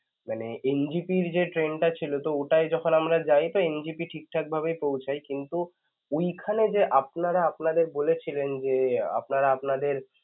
মানে NJPR যে train টা ছিল তো ওটাই যখন আমরা যাই তো NJP ঠিকঠাক ভাবেই পৌছাই কিন্তু ওইখানে যে আপনারা আপনাদের বলেছিলেন যে~ আপনারা আপনাদের